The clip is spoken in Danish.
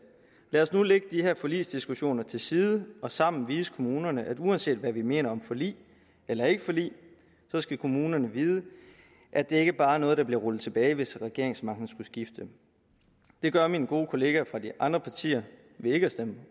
lad os nu lægge de her forligsdiskussioner til side og sammen vise kommunerne at uanset hvad vi mener om forlig eller ikke forlig skal kommunerne vide at det ikke bare er noget der bliver rullet tilbage hvis regeringsmagten skulle skifte det gør mine gode kollegaer fra de andre partier ved ikke at stemme